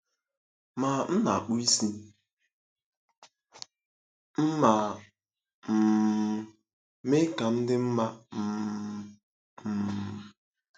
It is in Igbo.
Ma m na-akpụ isi m ma um mee ka m dị mma um. um